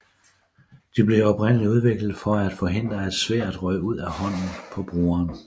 De blev oprindeligt udviklet for at forhindre at sværdet røg ud af hånden på brugeren